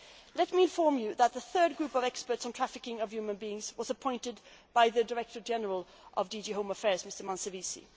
Let me inform you that the third group of experts on the trafficking of human beings was appointed by the Director General of DG Home Affairs, Mr Manservisi.